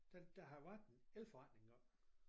Den de har været en elforretning deroppe